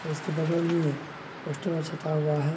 और उसके बगल में पोस्टर सटा हुआ है।